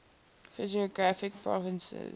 physiographic provinces